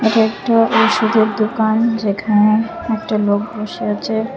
এটা একটা ওষুধের দুকান যেখানে একটা লোক বসে আচে।